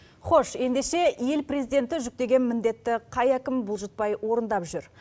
хош ендеше ел президенті жүктеген міндетті қай әкім болжытпай орындап жүр